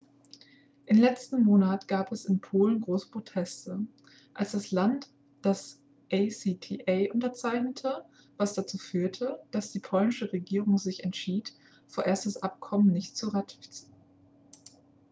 im letzten monat gab es in polen große proteste als das land das acta unterzeichnete was dazu führte dass die polnische regierung sich entschied vorerst das abkommen nicht zu ratifizieren